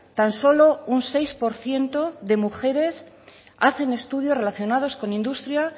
tan solo un seis por ciento de mujeres hacen estudios relacionados con industria